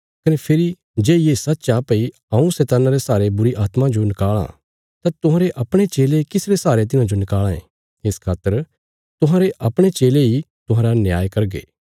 कने फेरी जे ये सच्च आ भई हऊँ शैतान्ना रे सहारे बुरीआत्मां जो नकाल़ां तां तुहांरे अपणे चेले किस रे सहारे तिन्हांजो नकाल़ां ये इस खातर तुहांरे अपणे चेले इ तुहांरा न्याय करगे